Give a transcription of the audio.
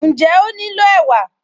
Ǹjẹ́ ó nílò ẹ̀wà?